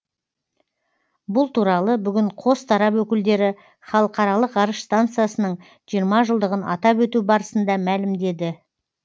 бұл туралы бүгін қос тарап өкілдері халықаралық ғарыш станциясының жиырма жылдығын атап өту барысында мәлімдеді